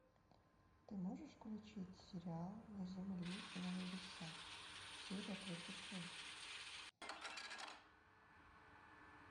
ты можешь включить сериал на земле и на небесах серия тридцать шесть